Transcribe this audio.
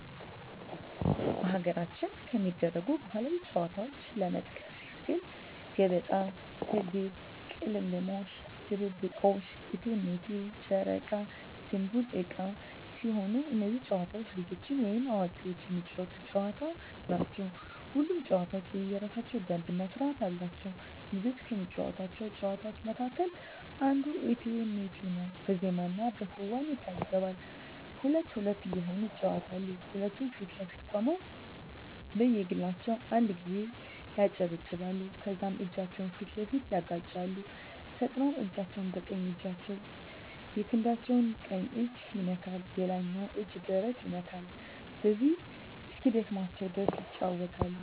በሀገራችን ከሚደረጉ ባህላዊ ጨዋታዎች ለመጥቀስ ያክል ገበጣ፣ ትግል፣ ቅልምልሞሽ፣ ድብብቆሽ፣ እቴሜቴ፣ ጨረቃ ድንቡል ዕቃ ሲሆኑ እነዚህ ጨዋታዎች ልጆችም ወይም አዋቂዎች የሚጫወቱት ጨዋታዎች ናቸው። ሁሉም ጨዋታ የየራሳቸው ደንብ እና ስርዓት አላቸው። ልጆች ከሚጫወቷቸው ጨዋታዎች መካከል አንዱ እቴሜቴ ነው በዜማና በክዋኔ ይታጀባል ሁለት ሁለት እየሆኑ ይጫወቱታል ሁለቱም ፊት ለፊት ቆመው በየግላቸው አንድ ጊዜ ያጨበጭባሉ ከዛም እጃቸውን ፊት ለፊት ያጋጫሉ ፈጥነው አንዳቸው በቀኝ እጃቸው የክንዳቸው ቀኝ እጅ ይነካል ሌላኛው እጅ ደረት ይነካል በዚሁ እስኪደክማቸው ድረስ ይጫወታሉ።